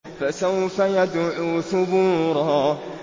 فَسَوْفَ يَدْعُو ثُبُورًا